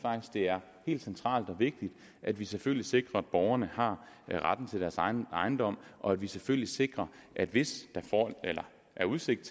det er helt centralt og vigtigt at vi selvfølgelig sikrer at borgerne har retten til deres egen ejendom og at vi selvfølgelig sikrer at hvis der er udsigt